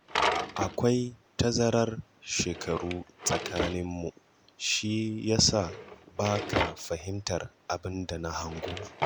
Akwai tazarar shekaru tsakaninmu shi ya sa ba ka fahimtar abin da na hango